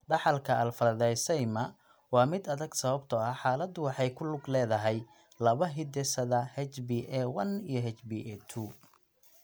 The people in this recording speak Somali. Dhaxalka alfa thalassaemia waa mid adag sababtoo ah xaaladdu waxay ku lug leedahay laba hidde-side: HBA1 iyo HBA2.